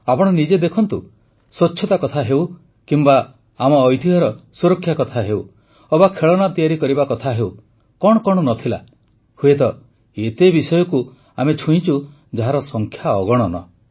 ଆପଣ ନିଜେ ଦେଖନ୍ତୁ ସ୍ୱଚ୍ଛତା କଥା ହେଉ କିମ୍ବା ଆମ ଐତିହ୍ୟର ସୁରକ୍ଷା କଥା ହେଉ ଅବା ଖେଳନା ତିଆରି କରିବା କଥା ହେଉ କଣ କଣ ନ ଥିଲା ହୁଏତ ଏତେ ବିଷୟକୁ ଆମେ ଛୁଇଁଛୁ ଯାହାର ସଂଖ୍ୟା ଅଗଣନ